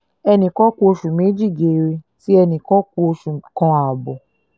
ẹnì kan ku oṣù méjì geere tí ẹnì kan ku oṣù kan ààbọ̀